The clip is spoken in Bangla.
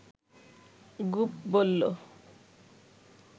গুপ বলল